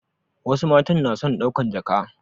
Wasu matan na son ɗaukan jaka